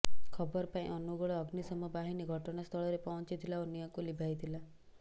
ଖବର ପାଇ ଅନୁଗୋଳ ଅଗ୍ନିଶମ ବାହିନୀ ଘଟଣାସ୍ଥଳରେ ପହଞ୍ଚିଥିଲା ଓ ନିଆଁକୁ ଲିଭାଇଥିଲା